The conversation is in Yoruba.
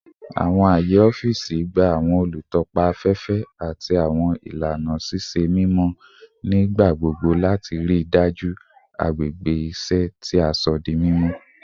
Awọn aaye ọfiisi gba awọn olutọpa afẹfẹ ati awọn ilana ṣiṣe mimọ nigbagbogbo lati rii daju agbegbe iṣẹ ti a sọ di mimọ